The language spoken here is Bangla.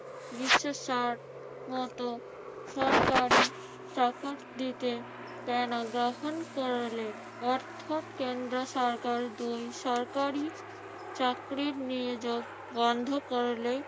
বিশ্বে ষাট মতো সরকারি চাকরি দিতে দেয় না। গ্রহণ করলে অর্থাৎ কেন্দ্র সরকার দুই সরকারই চাকরির নিয়োগ বন্ধ করলেই